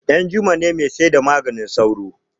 danjuma ne mai saida maganin sauro